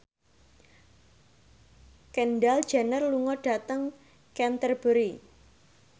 Kendall Jenner lunga dhateng Canterbury